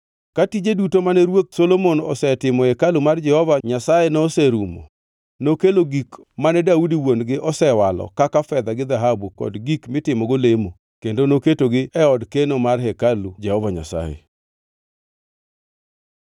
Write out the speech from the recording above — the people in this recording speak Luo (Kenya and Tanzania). Ka tije duto mane ruoth Solomon osetimo e hekalu mar Jehova Nyasaye noserumo, nokelo gik mane Daudi wuon-gi osewalo kaka fedha gi dhahabu kod gik mitimogo lemo kendo noketogi e od keno mar hekalu Jehova Nyasaye.